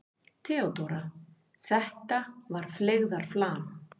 THEODÓRA: Þetta var feigðarflan.